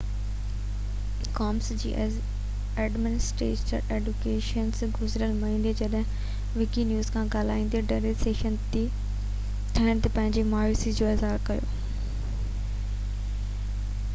Commines جي administrator Adam Cuerden گذريل مهيني جڏهن وڪي نيوز سان ڳالهائيندي ڊليشن تي ٿيڻ تي پنهنجي مايوسي جو اظهار ڪيو